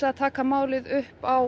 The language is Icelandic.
að taka málið upp á